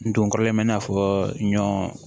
N donkɔrɔlen bɛ n'a fɔ ɲɔ